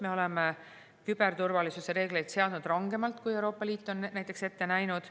Me oleme küberturvalisuse reegleid seadnud rangemalt, kui Euroopa Liit on ette näinud.